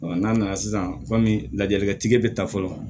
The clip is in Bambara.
n'a nana sisan kɔmi lajalikɛ bɛ taa fɔlɔ